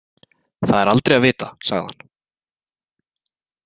Það er aldrei að vita, sagði hann.